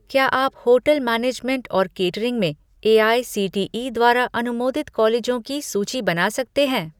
क्या आप hotel management और केटरिंग में एआईसीटीई द्वारा अनुमोदित कॉलेजों की सूची बना सकते हैं